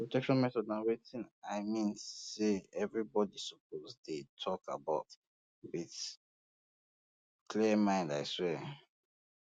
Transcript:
protection methods na wetin i mean say everybody suppose um dey talk about um with clear mind i swear